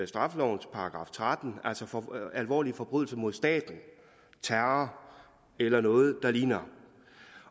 straffelovens § tretten altså alvorlige forbrydelse mod staten terror eller noget der ligner